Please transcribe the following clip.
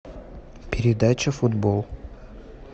передача футбол